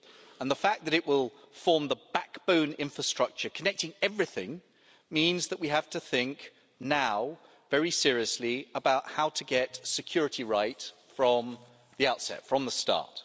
And the fact that it will form the backbone infrastructure connecting everything means that we now have to think very seriously about how to get security right from the outset, from the start.